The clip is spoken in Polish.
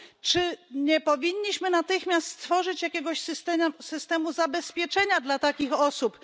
Czy nie powinniśmy natychmiast stworzyć jakiegoś systemu zabezpieczenia dla takich osób?